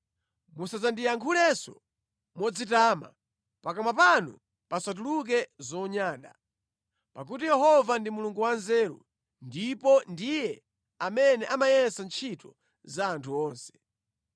“Musandiyankhulenso modzitama, pakamwa panu pasatuluke zonyada, pakuti Yehova ndi Mulungu wanzeru, ndipo ndiye amene amayesa ntchito za anthu onse.